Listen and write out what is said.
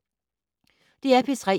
DR P3